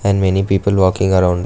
And many people walking around --